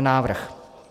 návrh.